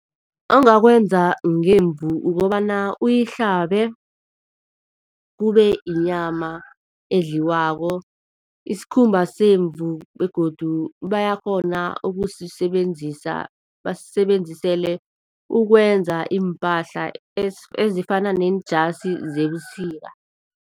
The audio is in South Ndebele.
Ongakwenza ngemvu ukobana uyihlabe kubeyinyama edliwako. Isikhumba semvumo begodu bayakghona ukusisebenzisa basisebenzisele ukwenza iimpahla ezifana nenjasi zebusika.